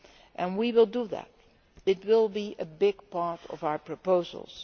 And we will do that it will be a big part of our proposals.